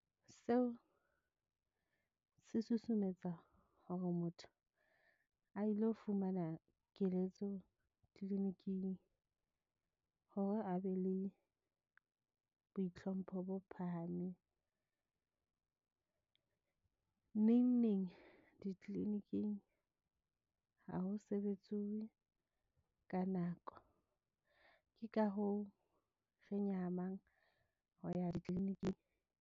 Seo se susumetsa hore motho a ilo fumana keletso clinic-ing hore a be le boitlhompho bo phahameng. Neng neng di-clinic-ing ha ho sebetsuwe ka nako. Ke ka hoo re nyahamang ho ya di-clinic-ing.